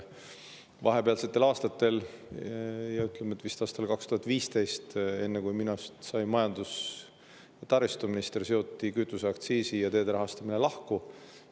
Vahepealsetel aastatel, see oli vist aastal 2015, enne kui minust sai majandus‑ ja taristuminister, seoti kütuseaktsiis teede rahastamisest lahti.